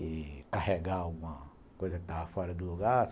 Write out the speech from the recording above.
e carregar alguma coisa que estava fora do lugar.